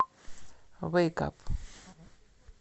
вэйк ап